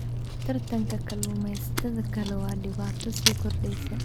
Tartanka kalluumaysatada kale waa dhibaato sii kordheysa.